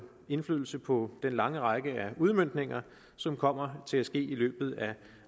indflydelse på den lange række af udmøntninger som kommer til at ske i løbet af